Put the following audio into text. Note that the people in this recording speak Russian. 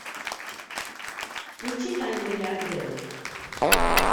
включи тайны миллиардера